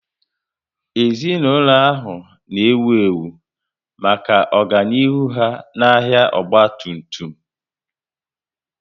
Ezinaụlọ ahụ na ewu ewu maka ọganihu ha n'ahia ọgba tum tum